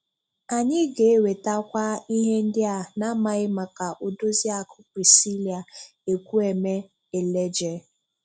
Anyị ga-ewetakwa ihe ndị a na-amaghị maka Odoziakụ Priscillia Ekwueme Eleje.